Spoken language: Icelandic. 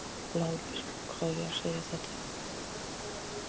LÁRUS: Hvað á ég að segja það oft?